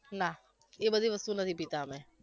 ના એ બધી વસ્તુ નથી પીતા અમે